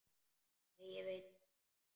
Nei ég veit það ekki.